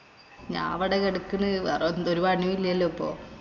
ഞാവിടെ കെടക്കണ്. വേറെ എന്തര് പണിയില്ലല്ലോ ഇപ്പൊ.